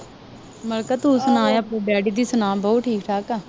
ਮੈਂ ਕਿਹਾ ਤੂੰ ਸੁਣਾ ਆਪਣੇ ਡੈਡੀ ਦੀ ਸੁਣਾ ਬਾਊ ਠੀਕ ਠਾਕ ਆ